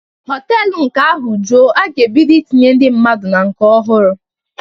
Họtelu nke ahụ juo, a ga-ebido itinye ndị mmadụ na nke ọhụrụ